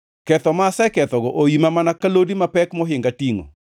Ketho ma asekethogo oima mana ka lodi mapek mohinga tingʼo.